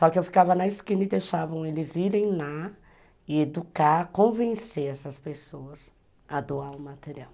Só que eu ficava na esquina e deixavam eles irem lá e educar, convencer essas pessoas a doar o material.